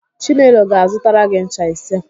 Chinelo ga-azụtara gị ncha ise.